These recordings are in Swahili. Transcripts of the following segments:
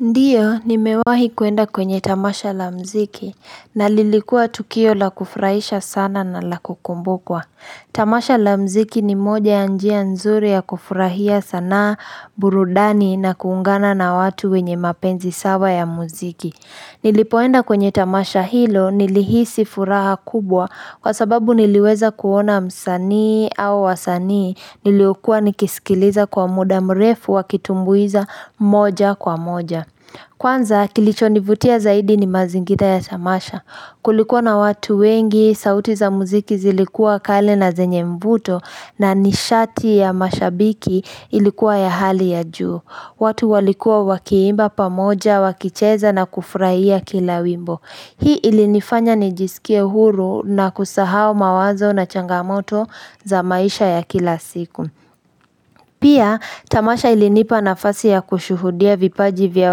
Ndiyo, nimewahi kuenda kwenye tamasha la mziki, na lilikua tukio la kufurahisha sana na la kukumbukwa. Tamasha la mziki ni moja ya njia nzuri ya kufurahia sanaa burudani na kuungana na watu wenye mapenzi sawa ya muziki. Nilipoenda kwenye tamasha hilo nilihisi furaha kubwa kwa sababu niliweza kuona msanii au wasanii niliokua nikisikiliza kwa muda mrefu wakitumbuiza moja kwa moja. Kwanza kilichonivutia zaidi ni mazingira ya tamasha kulikuwa na watu wengi sauti za muziki zilikua kale na zenye mvuto na nishati ya mashabiki ilikuwa ya hali ya juu. Watu walikuwa wakiimba pamoja, wakicheza na kufuraia kila wimbo Hii ilinifanya nijisikie huru na kusahau mawazo na changamoto za maisha ya kila siku Pia, Tamasha ilinipa nafasi ya kushuhudia vipaji vya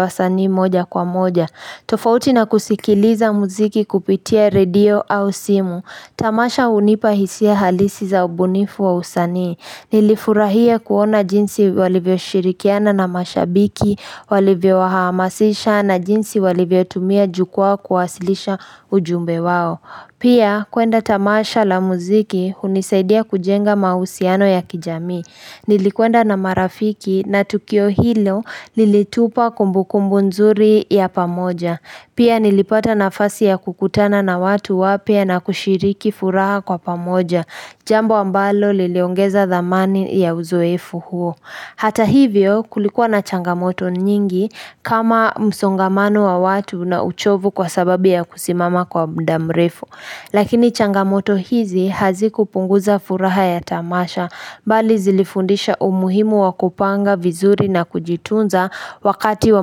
wasani moja kwa moja tofauti na kusikiliza muziki kupitia redio au simu Tamasha hunipa hisia halisi za ubunifu wa usanii Nilifurahia kuona jinsi walivyo shirikiana na mashabiki walivyo wahamasisha na jinsi walivyo tumia jukwaa kuwasilisha ujumbe wao Pia kuenda tamasha la muziki hunisaidia kujenga mahusiano ya kijamii Nilikwenda na marafiki na tukio hilo lilitupa kumbukumbu nzuri ya pamoja Pia nilipata nafasi ya kukutana na watu wapya na kushiriki furaha kwa pamoja Jambo ambalo liliongeza dhamani ya uzoefu huo Hata hivyo kulikuwa na changamoto nyingi kama msongamano wa watu na uchovu kwa sababu ya kusimama kwa mda mrefu Lakini changamoto hizi hazikupunguza furaha ya tamasha Bali zilifundisha umuhimu wa kupanga vizuri na kujitunza wakati wa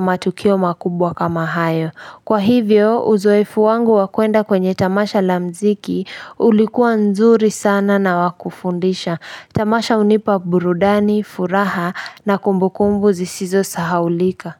matukio makubwa kama hayo Kwa hivyo uzoefu wangu wa kuenda kwenye Tamasha la mziki ulikuwa nzuri sana na wa kufundisha. Tamasha hunipa burudani, furaha na kumbukumbu zisizo sahaulika.